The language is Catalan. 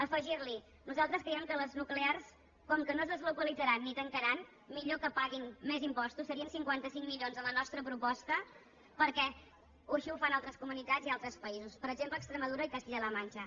afegir li nosaltres creiem que les nuclears com que no es deslocalitzaran ni tancaran millor que paguin més impostos serien cinquanta cinc milions a la nostra proposta perquè així ho fan altres comunitats i altres països per exemple extremadura i castilla la mancha